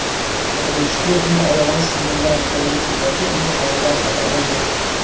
Otabek Shukurovning oyog‘ini sindirgan xitoylik futbolchi uning holidan xabar oldi.